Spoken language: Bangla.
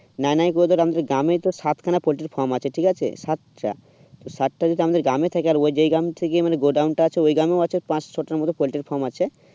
মানে কি বলতো আমাদের গ্রামের তো সাতখানা পোল্ট্রি farm আছে ঠিক আছে, সাতটা তোর সাতটা যদি আমাদের গ্রামেই থাকে আর ওই যে গ্রাম থেকে মানে গোডাউন টা আছে ওই গ্রামে আছে পাঁচ ছয়টার মত পোল্ট্রি farm আছে